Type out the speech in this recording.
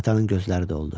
Atanın gözləri doldu.